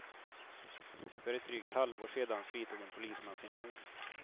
För ett drygt halvår sedan fritog en polisman sin mor.